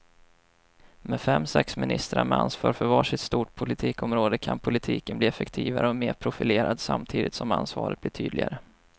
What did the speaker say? Med fem, sex ministrar med ansvar för var sitt stort politikområde kan politiken bli effektivare och mer profilerad samtidigt som ansvaret blir tydligare.